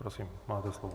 Prosím, máte slovo.